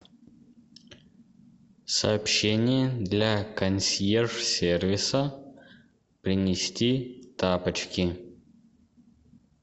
сообщение для консьерж сервиса принести тапочки